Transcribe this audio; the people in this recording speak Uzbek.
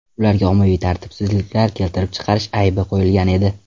Ularga ommaviy tartibsizliklar keltirib chiqarish aybi qo‘yilgan edi.